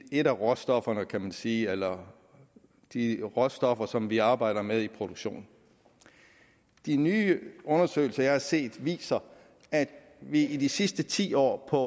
et af råstofferne kan man sige eller de råstoffer som vi arbejder med i produktionen og de nye undersøgelser som jeg har set viser at vi i de sidste ti år på